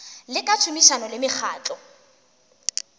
le ka tšhomišano le mekgatlo